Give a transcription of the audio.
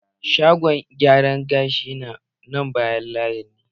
Shagon gyaran gashin na nan bayan layin mu.